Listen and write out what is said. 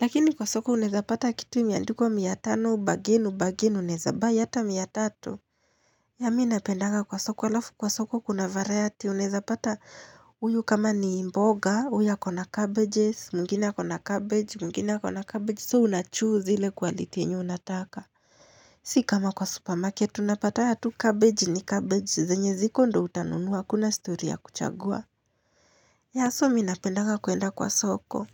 Lakini kwa soko unaweza pata kitu kimeandikwa mia tano, ubargain, ubargain, unaweza buy hata mia tatu Mimi huwa ninapenda kwa soko, alafu kwa soko kuna variety. Unaweza pata huyu kama ni mboga, huyu ya ako na cabbages, mwingine ako na cabbage, mwingine ako na cabbage. So, unachoose ile quality yenye unataka Sio kama kwa supermarket, huwa unapata cabbage ni cabbage, zenye ziko ndio utanunua, hakuna story ya kuchagua. So mimi huwa napenda kuenda kwa soko.